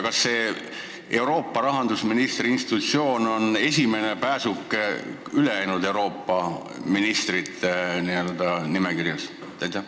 Kas see Euroopa rahandusministri institutsioon on esimene pääsuke ülejäänud n-ö Euroopa ministrite nimekirjas?